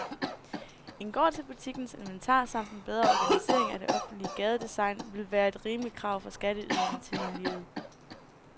En gård til butikkens inventar samt en bedre organisering af det offentlige gadedesign ville være et rimeligt krav fra skatteyderne til miljøet.